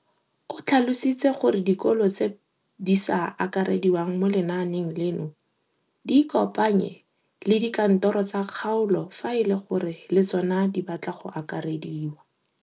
O tlhalositse gore dikolo tse di sa akarediwang mo lenaaneng leno di ikopanye le dikantoro tsa kgaolo fa e le gore le tsona di batla go akarediwa.